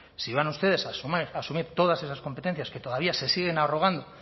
si van ustedes a asumir todas esas competencias que todavía se siguen arrogando